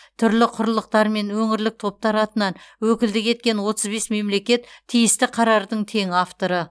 түрлі құрлықтар мен өңірлік топтар атынан өкілдік еткен отыз бес мемлекет тиісті қарардың тең авторы